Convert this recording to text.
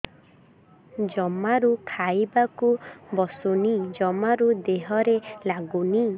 ଜମାରୁ ଖାଇବାକୁ ବସୁନି ଜମାରୁ ଦେହରେ ଲାଗୁନି